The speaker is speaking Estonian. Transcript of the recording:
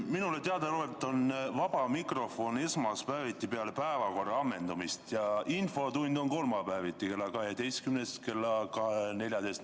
Minule teadaolevalt on vaba mikrofon esmaspäeviti peale päevakorra ammendamist ja infotund on kolmapäeviti kella 12–14.